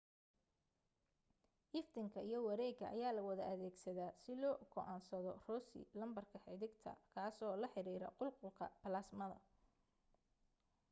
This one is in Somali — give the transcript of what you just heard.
iftiinka iyo wareega ayaa la wada adeegsadaa si loo go'aansado rossy lambarka xiddigta kaasoo la xiriira qulqulka balaasmada